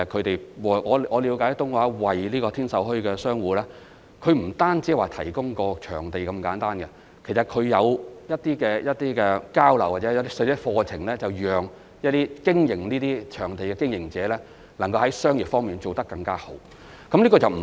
據我了解，東華三院不單為天秀墟的商戶提供場地那麼簡單，其實它還會舉辦一些交流活動或課程，讓經營這些場地攤檔的經營者能夠在商業方面做得更好。